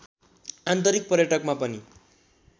आन्तरिक पर्यटकमा पनि